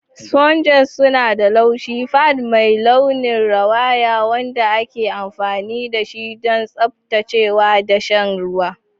Sponges suna da laushi, pad mai launin rawaya wanda ake amfani dashi don tsaftacewa da sha ruwa.